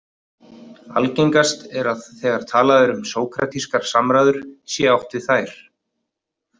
Algengast er að þegar talað er um sókratískar samræður sé átt við þær.